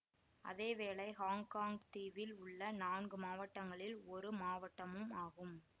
அதேவேளை ஹாங்காங் தீவில் உள்ள நான்கு மாவட்டங்களில் ஒரு மாவட்டமும் ஆகும்